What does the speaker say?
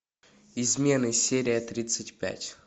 измены серия тридцать пять